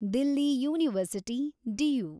Delhi University , DU